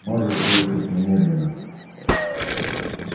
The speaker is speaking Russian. можешь выехать немедленно